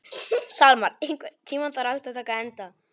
Salmar, einhvern tímann þarf allt að taka enda.